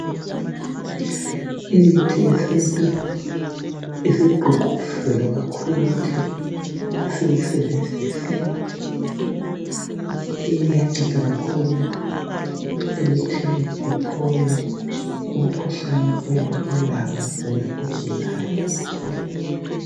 Imithi yesintu isigqugquzelwa kakhulu ukuthi siyisebenzise iyanceda kakhulu ekuthini uphole emkhuhlaneni oyabe ulawo wena ogulayo.